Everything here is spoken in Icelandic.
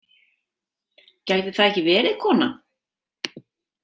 Gæti það ekki verið kona?